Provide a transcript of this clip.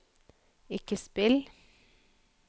ikke spill